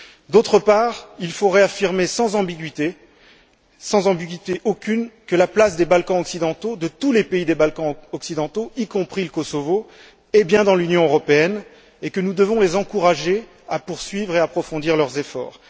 D'autre part, il faut réaffirmer sans ambiguïté aucune que la place des Balkans occidentaux, de tous les pays des Balkans occidentaux, y compris le Kosovo, est bien dans l'Union européenne, et que nous devons les encourager à poursuivre et à approfondir leurs efforts.